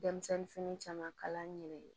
Denmisɛnnin fini caman kala an yɛrɛ ye